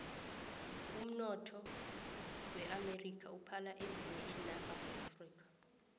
umnotho weamerika uphala ezinye iinarha zeafrika